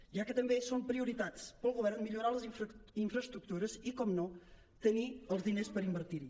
ja que també són prioritats per al govern millorar les infraestructures i evidentment tenir els diners per invertir hi